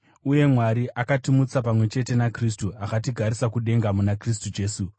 Uye Mwari akatimutsa pamwe chete naKristu akatigarisa kudenga muna Kristu Jesu,